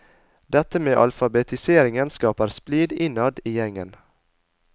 Dette med alfabetiseringen skaper splid innad i gjengen.